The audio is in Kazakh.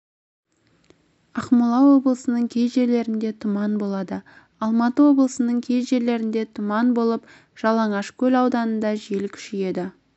ақмола облысының кей жерлерінде тұман болады алматы облысының кей жерлерінде тұман болып жалаңашкөл ауданында жел күшейеді